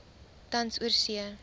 tans oorsee